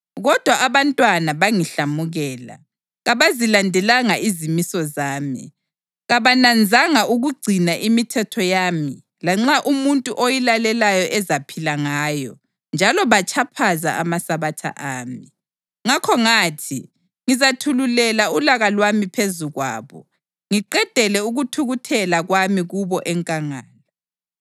Kodwa abantwana bangihlamukela: Kabazilandelanga izimiso zami, kabananzanga ukugcina imithetho yami lanxa umuntu oyilalelayo ezaphila ngayo njalo batshaphaza amaSabatha ami. Ngakho ngathi ngizathululela ulaka lwami phezu kwabo ngiqedele ukuthukuthela kwami kubo enkangala.